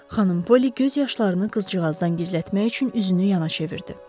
Xanım Poli göz yaşlarını qızcığazdan gizlətmək üçün üzünü yana çevirdi.